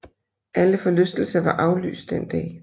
Alle forlystelser var aflyst den dag